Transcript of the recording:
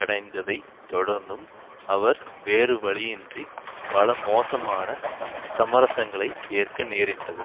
அடைந்ததை தொடர்ந்தும் அவர் வேறுவழியின்றி பல மோசமான சமரசங்களை ஏற்க நேரிட்டது